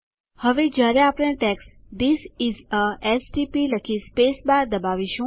હવે જયારે આપણે text this is a STP લખી સ્પેસ બાર દબાવીશું